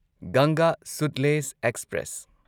ꯒꯪꯒꯥ ꯁꯨꯠꯂꯦꯖ ꯑꯦꯛꯁꯄ꯭ꯔꯦꯁ